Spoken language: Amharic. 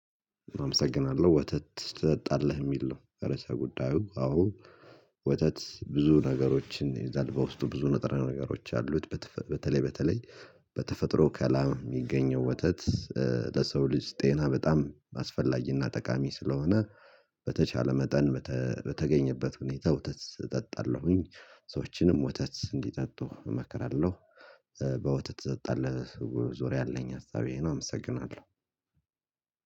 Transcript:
አመሰግናለሁ ወተት ትጠጣለህ የሚል ነው? ርዕሰ ጉዳዩ አዎ ወተት ብዙ ነገሮችን ይይዛል በውስጡ ብዙ ነጥራ ነገሮች አሉት በተለይ በተለይ በተፈጥሮ ከላም የሚገኘው ወተት። ለሰው ልጅ ጤና በጣም አስፈላጊና ጠቃሚ ስለሆነ በተቻለ መጠን በተገኘበት ሁኔታ ወተት እጠጣለሁኝ ሰዎችንም ወተት እንዲጠጡ እመክራለሁ። ይዘጣል። ዙሪያ የለኝ ሀሳቤን አመሰግናለሁ።